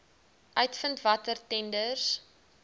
uitvind watter tenders